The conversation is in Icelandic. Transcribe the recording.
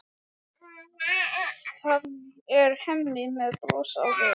Það er Hemmi með bros á vör.